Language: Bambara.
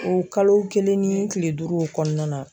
O kalo kelen ni kile duuru o kɔnɔna na.